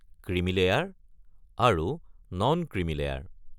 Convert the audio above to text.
Creamy layer আৰু non creamy layer.